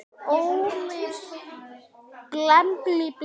Óli bendir á mig: